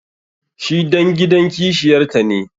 shi dan gidan kishiyarta ne